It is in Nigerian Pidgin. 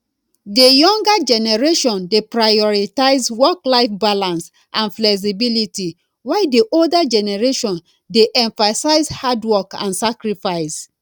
di younger generation dey prioritize worklife balance and flexibility while di older generation dey emphasis hard work and sacrifice